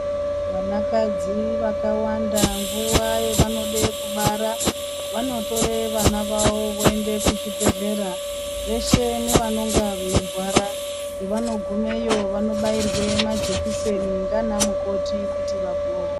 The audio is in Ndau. Vanakadzi vakawanda nguva yavanode kubara vanotore vana vavo voende kuzvibhedhlera veshe nevanonga veirwara. Pavanogumeyo vanobairwe majekiseni ngana mukoti kuti vapore.